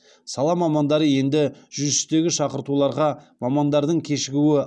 сала мамандары енді жүз үштегі шақыртуларға мамандардың кешігуі